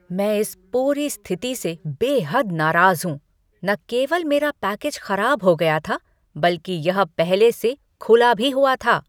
मैं इस पूरी स्थिति से बेहद नाराज़ हूं। न केवल मेरा पैकेज खराब हो गया था, बल्कि यह पहले से खुला भी हुआ था!